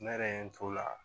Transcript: Ne yɛrɛ ye n t'o la